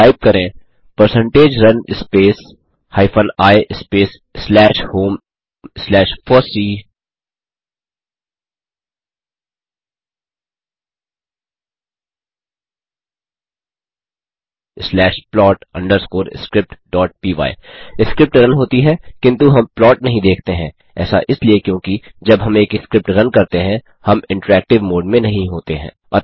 type करें percentage run space hyphen I space slash home slash fossee slash plot underscore script dot py script run होती है किन्तु हम plot नहीं देखते हैं ऐसा इसलिए क्योंकि जब हम एक स्क्रिप्ट रन करते हैं हम इंटरैक्टिव मोड में नहीं होते हैं